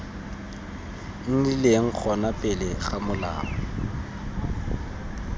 nnileng gona pele ga molao